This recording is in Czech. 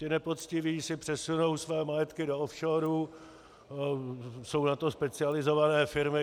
Ti nepoctiví si přesunou své majetky do offshoru, jsou na to specializované firmy.